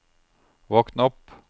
våkn opp